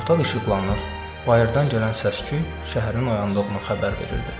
Otaq işıqlanır, bayırdan gələn səs-küy şəhərin oyandığını xəbər verirdi.